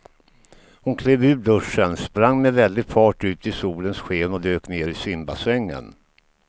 Hon klev ur duschen, sprang med väldig fart ut i solens sken och dök ner i simbassängen.